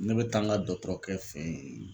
Ne bɛ taa n ka dɔkɔtɔrɔkɛ fe yen